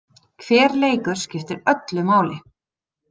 Hver leikur skiptir öllu máli.